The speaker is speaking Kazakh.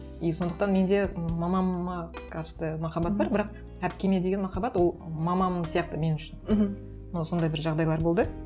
и сондықтан менде мамама махаббат бар бірақ әпкеме деген махаббат ол мамам сияқты мен үшін мхм но сондай бір жағдайлар болды